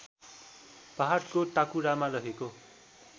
पहाडको टाकुरामा रहेको